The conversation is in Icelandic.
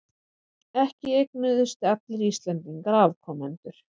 En ekki eignuðust allir Íslendingar afkomendur.